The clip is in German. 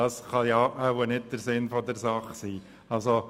Das kann wohl nicht der Sinn der Sache sein.